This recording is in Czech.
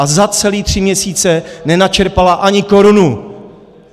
A za celé tři měsíce nenačerpala ani korunu.